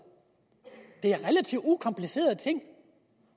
det er relativt ukomplicerede ting